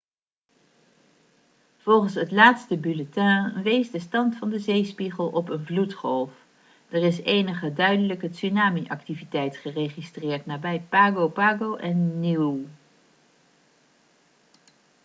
volgens het laatste bulletin wees de stand van de zeespiegel op een vloedgolf er is enige duidelijke tsunami-activiteit geregistreerd nabij pago pago en niue